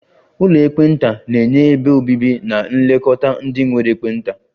Ụlọ ekpenta na-enye ebe obibi na nlekọta ndị nwere ekpenta